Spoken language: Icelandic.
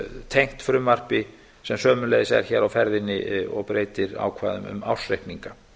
tengt frumvarpi sem sömuleiðis er hér á ferðinni og breytir ákvæðum um ársreikninga